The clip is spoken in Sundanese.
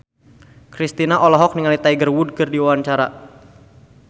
Kristina olohok ningali Tiger Wood keur diwawancara